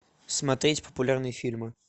смотреть популярные фильмы